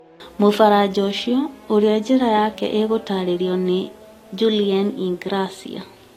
Mũfaranja ũcio, ũrĩa njĩra yake ĩgũtaarĩrio nĩ Julien Ingrassia,